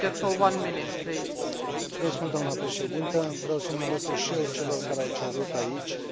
Vreau să mă alătur și eu celor care au cerut aici eliberarea imediată a lui Farai Maguwu.